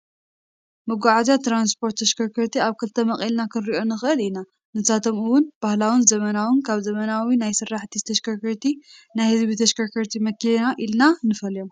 መጉዓዝያን ትራስፖት ተሽከርከርትን ኣብ ክልተ መቂለና ክንሪኦ ንክእል ኢና ፣ንሳቶም፦ እውን ባህላው ዘመናዊን ካብ ዘመናዊ ናይ ስራሕ ተሽከርትን ናይ ህዝቢ ተሽከርከርት መኪና ኢልና ንፈልዮም።